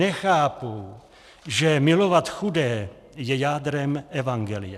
Nechápou, že milovat chudé je jádrem evangelia.